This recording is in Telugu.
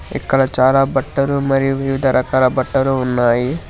ఇక్కడ చాలా బట్టలు మరియు వివిధ రకాల బట్టలు ఉన్నాయి.